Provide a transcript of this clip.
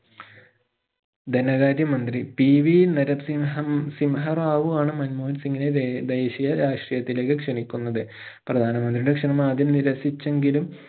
ധനകാര്യ മന്ത്രി PV നരൻസിംഹം സിംഹറാവു ആണ് മൻമോഹൻ സിംഗിനെ ദേ ദേഷ്യ രാഷ്ട്രീയത്തിലേക്ക് ക്ഷണിക്കുന്നത് പ്രധാനമന്ത്രിയുടെ ക്ഷണം ആദ്യം നിരസിച്ചെങ്കിലും